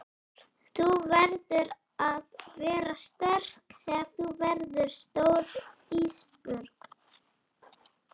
Þú verður að vera sterk þegar þú verður stór Ísbjörg.